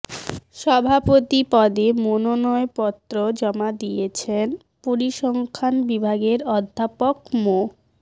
সভাপতি পদে মনোনয়ন পত্র জমা দিয়েছেন পরিসংখ্যান বিভাগের অধ্যাপক মো